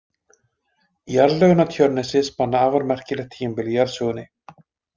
Jarðlögin á Tjörnesi spanna afar merkilegt tímabil í jarðsögunni.